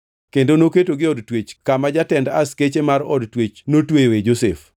Kendo noketogi e od twech kama jatend askeche mar od twech notweyoe Josef.